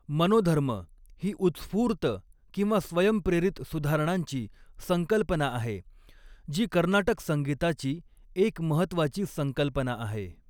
मनोधर्म ही उत्स्फूर्त किंवा स्वयंप्रेरित सुधारणांची संकल्पना आहे, जी कर्नाटक संगीताची एक महत्त्वाची संकल्पना आहे.